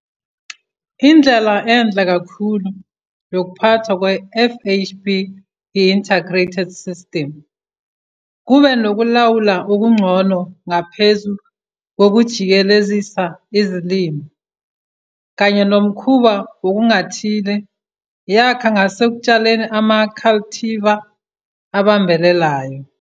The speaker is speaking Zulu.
Indlela enhle kakhulu yokuphathwa kwe-FHB yi-integrated system, kube nokulawula okungcono ngaphezu kokujikelezisa izilimo kanye nomkhuba wokungathili, yakha ngasekutshaleni ama-cultivar abambelelayo.